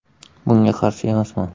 Bunga qarshi emasman.